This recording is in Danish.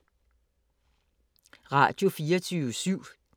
Radio24syv